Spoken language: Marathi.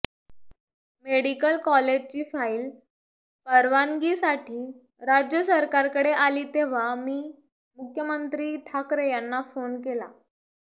मेडिकल कॉलेजची फाइल परवानगीसाठी राज्य सरकारकडे आली तेव्हा मी मुख्यमंत्री ठाकरे यांना फोन केला